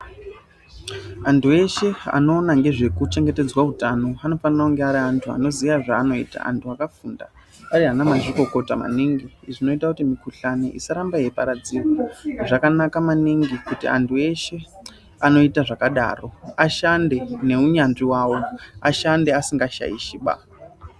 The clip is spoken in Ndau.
Antu eshe anoona nezvekuchengetedzwa utano anofanire kunge ari antu anoziya zvaanoita antu akafunda. Ari ana mazvikokota maningi izvi zvinoita kuti mikuhlani isaramba yeiparadzirwa. Zvakanaka maningi kuti antu eshe anoita zvakadaro ashande neunyanzvi vavo ashande asingashaishiba.